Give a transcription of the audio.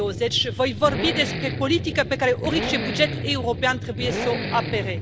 2020. Voi vorbi despre politica pe care orice buget european trebuie să o apere.